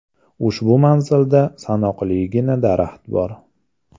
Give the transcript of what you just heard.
Ushbu manzilda sanoqligina daraxt bor.